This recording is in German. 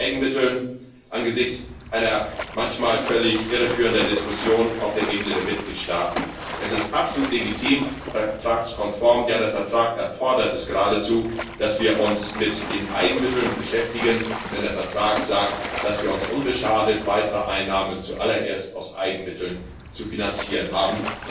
Lassen Sie mich angesichts einer manchmal irreführenden Diskussion auf der Ebene der Mitgliedstaaten noch etwas zu den Eigenmitteln sagen Es ist absolut legitim, vertragskonform ja, der Vertrag erfordert es geradezu dass wir uns mit den Eigenmitteln beschäftigen, denn der Vertrag sagt, dass wir uns unbeschadet weiterer Einnahmen zu allererst aus Eigenmitteln zu finanzieren haben.